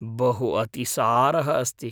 बहु अतिसारः अस्ति।